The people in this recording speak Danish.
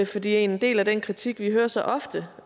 fordi en del af den kritik vi hører så ofte